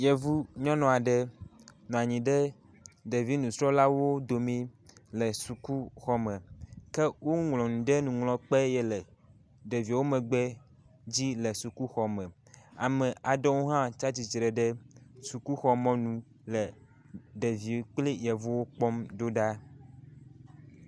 Yevu nyɔnu aɖe nɔ anyi ɖe ɖevi nusrɔ̃lawo dome le sukuxɔme ke woŋlɔ nu ɖe nuŋlɔkpe yi le ɖeviwo megbe dzi le sukuxɔme. Ame aɖewo hã tsi atsitre ɖe sukuxɔmɔnu le ɖeviwo kple yevuwo kpɔm ɖo ɖa.